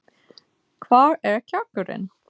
Hvar er kjarkurinn?